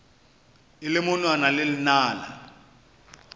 e le monwana le lenala